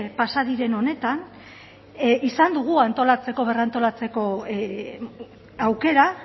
pasa diren honetan izan dugu antolatzeko berrantolatzeko aukera